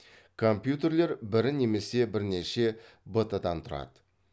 компьютерлер бір немесе бірнеше бт дан тұрады